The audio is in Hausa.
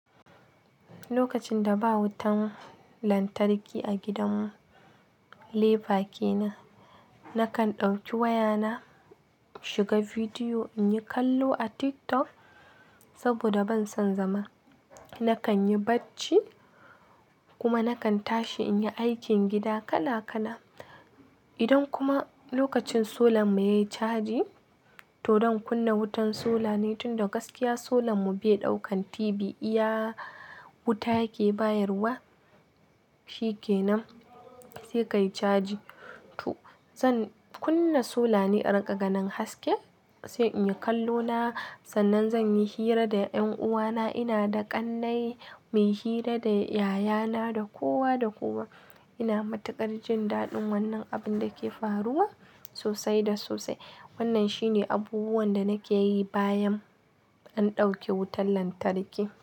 Lokacin da ba wutan lantarki a gidan lefa kenan, nakan ɗauki wayana shiga bidiyo in yi kallo a TikTok saboda ban son zama. Nakan yi bacci, kuma nakan tashi in yi aikin gida kala kala. Idan kuma lokacin solan mu yayi caji, to zan kunna wutan sola ne tun da gaskiya solan mu bai daukan TV iya wuta yake bayarwa, shi kenan sai ka yi caji. To zan kunna sola ne a riga ganin haske, sai in yi kallo na. Sannan zan yi hira da 'yan uwana, ina da ƙannai. Mai hira da yayana, da kowa da kowa. Ina matukar jin daɗin wannan abun da ke faruwa, sosai da sosai. Wannan shine abubuwan da nake yi bayan, an ɗauke wutan lantarki.